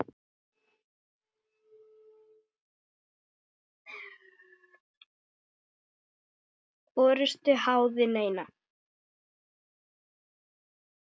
orrustu háði neina.